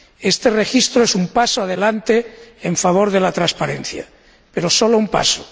Este registro es un paso adelante en favor de la transparencia, pero solo un paso.